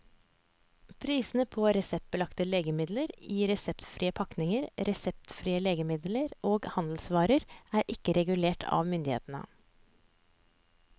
Prisene på reseptbelagte legemidler i reseptfrie pakninger, reseptfrie legemidler og handelsvarer er ikke regulert av myndighetene.